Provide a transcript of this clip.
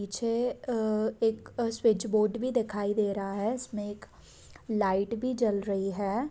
पीछे एक switch board भी दिखाई दे रहा हैइसमे एक लाईट भी जल रही है।